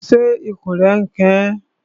Ṣé ikùn rẹ n kan ọ?